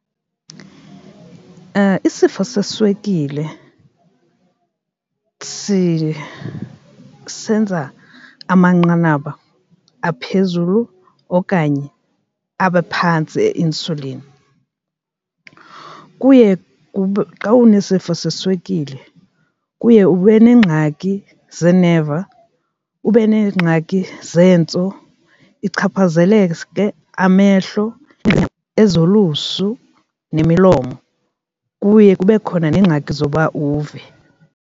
Isifo seswekile senza amanqanaba aphezulu okanye abe phantsi e-insuline, kuye kube xa unesifo seswekile kuye ube nengxaki zeeneva, ube neengxaki zeentso, ichaphazeleke amehlo ezo lusu nemilomo, kuye kube khona neengxaki zoba uve.